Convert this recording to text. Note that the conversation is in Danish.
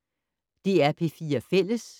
DR P4 Fælles